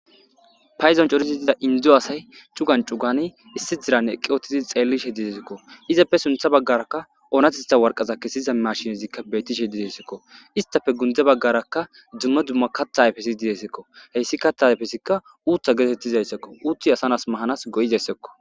Payzon corizidida indzu asay cugan cugani issi diran eqqi ootidi xeellishe didesekko izappe suntha baggarakka oonatitha warqaza kessiza mashinezikka beyttishe didesekko istafe gundze baggarakka dzumma dumma katta ayfesi didesekko heyssi kattaayfesikka uuttha geetettizayssakko uuti asanas mahanas goyizayssakko.